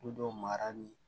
Ko dɔw mara ni